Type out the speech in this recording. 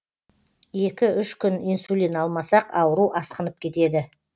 екі үш күн инсулин алмасақ ауру асқынып кетеді